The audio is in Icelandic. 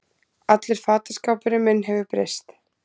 Allur fataskápurinn minn hefur breyst